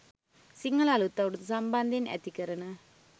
සිංහල අලූත් අවුරුද්ද සම්බන්ධයෙන් ඇතිකරන